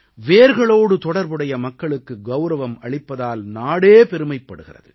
வேர்களோடு தொடர்புடைய மக்களுக்கு கௌரவம் அளிப்பதால் நாடே பெருமைப்படுகிறது